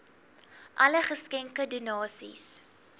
alle geskenke donasies